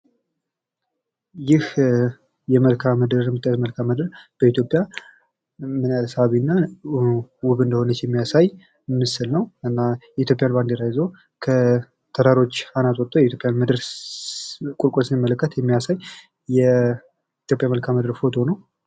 ይህ የመልክአ ምድር የምታዩት መልክአ ምድር በኢትዮጵያ ምን ያህል ሳቢና ውብ እንደሆነች የሚያሳይ ምስል ነው ።እና የኢትዮጵያን ባንዲራ ይዞ ከተራሮች አናት ወቶ የኢትዮጵያን ምድር ቁልቁል ሲመለከት የሚያሳይ የኢትዮጵያ መልክአ ምድር ፎቶ ነው ።